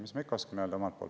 Mis ma ikka oskan öelda?